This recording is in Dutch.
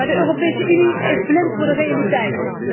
Maar de Europese Unie is blind voor de realiteit.